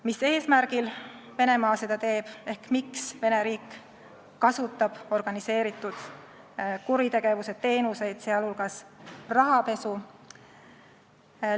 Mis eesmärgil Venemaa seda teeb ehk miks Vene riik kasutab organiseeritud kuritegevuse teenuseid, sh rahapesu?